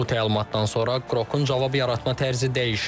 Bu təlimatdan sonra Qrokun cavab yaratma tərzi dəyişib.